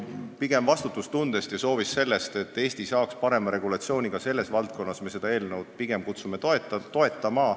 Aga vastutustundest ja soovist, et Eesti saaks parema regulatsiooni ka selles valdkonnas, me pigem kutsume üles seda eelnõu toetama.